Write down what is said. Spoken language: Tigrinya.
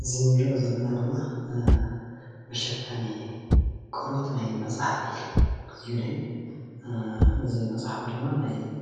እዚ ንሪኦ ዘለና ድማ መሸፈኒ ቆርበት ናይ መፅሓፍ እዩ፡፡ እዚ መፅሓፍ ድማ